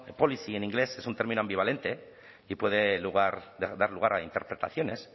policy en inglés es un término ambivalente y puede dar lugar a interpretaciones